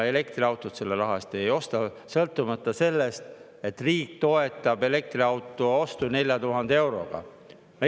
Elektriautot selle raha eest ei osta, sõltumata sellest, et riik toetab elektriauto ostu 4000 euroga.